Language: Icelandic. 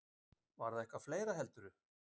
Var það eitthvað fleira, heldurðu?